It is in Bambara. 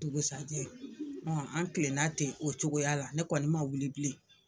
Dugusajɛ an kilenna ten o cogoya la ne kɔni man wuli bilen.